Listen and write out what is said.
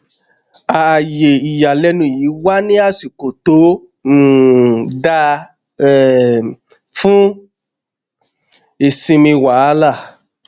ààyè ìyàlẹnu yìí wá ní àsìkò tó um dáa um fún ìsinmi wàhálà